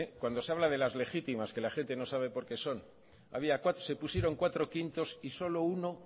cuando se habla de las legítimas que la gente no sabe por qué son se pusieron cuatro quintos y solo uno